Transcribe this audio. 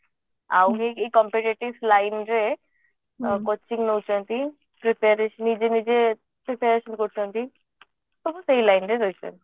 ଆଉ କିଏ କିଏ ଏଇ competitive flying ରେ coaching ନଉଛନ୍ତି preparation ନିଜେ ନିଜେ preparation କରୁଛନ୍ତି ସବୁ ସେଇ line ରେ ରହିଛନ୍ତି